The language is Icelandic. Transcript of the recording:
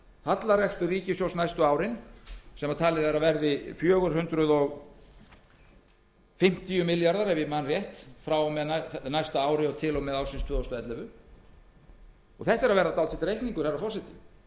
hallarekstur ríkissjóðs næstu árin sem talið er að verði fjögur hundruð fimmtíu milljarðar ef ég man rétt frá með næsta ári til og með árinu tvö þúsund og ellefu þetta er að verða dálítill reikningur herra forseti